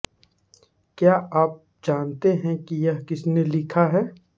क्या आप जानते हैं कि यह किसने लिखा है